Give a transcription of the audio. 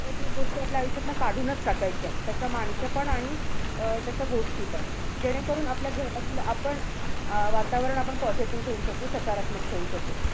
नकारात्मक गोष्टी आपल्या आयुष्यातनं काढूनचं टाकायच्या. तशे माणसं पण आणि अं तश्या गोष्टीपण. जेणेकरून आपल्या घरातल्या आपण अं वातावरण आपण positive ठेऊ शकू. सकारात्मक ठेऊ शकू.